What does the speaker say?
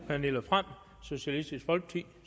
pernille frahm socialistisk folkeparti